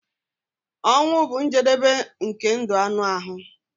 Ọnwụ bụ njedebe nke ndụ anụ ahụ.